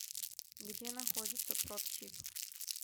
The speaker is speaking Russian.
где находится продсиб